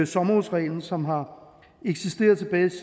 sommerhusreglen som har eksisteret siden